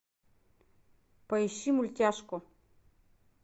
поищи мультяшку